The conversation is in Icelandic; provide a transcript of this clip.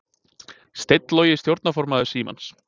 Steinn Logi stjórnarformaður Símans